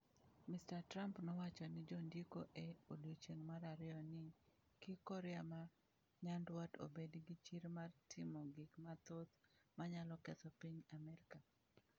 Mr Trump nowacho ne jondiko e odiechieng’ mar ariyo ni: “Kik Korea ma Nyanduat obed gi chir mar timo gik mathoth ma nyalo ketho piny Amerka.”